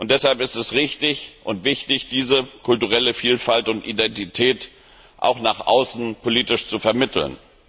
Deshalb ist es richtig und wichtig, diese kulturelle Vielfalt und Identität auch nach außen politisch zu vermitteln.